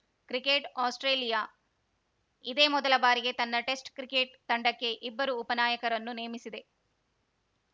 cricket Australia ಇದೇ ಮೊದಲ ಬಾರಿಗೆ ತನ್ನ ಟೆಸ್ಟ್‌ ಕ್ರಿಕೆಟ್‌ ತಂಡಕ್ಕೆ ಇಬ್ಬರು ಉಪನಾಯಕರನ್ನು ನೇಮಿಸಿದೆ